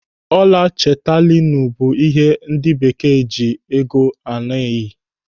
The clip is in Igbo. Ọla chetalinu bụ ihe ndị Bekee ji ego a na-eyi.